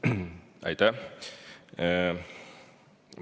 Aitäh!